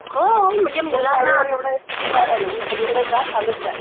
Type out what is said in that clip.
ये गाडीवर ये दुपारायला सगळीकडे जा चालत जा